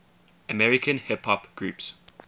american hip hop groups